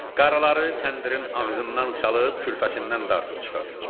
Qaraları təndirin ağzından salıb, külfəsindən dartıb çıxardacam.